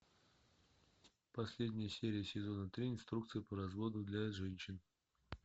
последняя серия сезона три инструкция по разводу для женщин